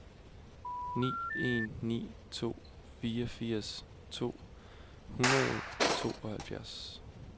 ni en ni to fireogfirs to hundrede og tooghalvtreds